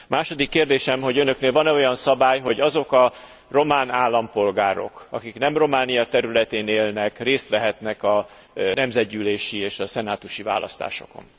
Második kérdésem, hogy önöknél van e olyan szabály, hogy azok a román állampolgárok, akik nem Románia területén élnek, részt vehetnek a nemzetgyűlési és a szenátusi választásokon?